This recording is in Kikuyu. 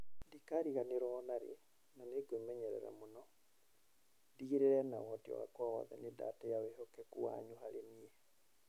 Ndikariganĩrũo ona rĩ, na nĩ ngwĩmenyerera mũno. Ndĩgĩrĩre na ũhoti wakwa wothe nĩ ndatĩa wĩhokeku wanyu harĩ niĩ".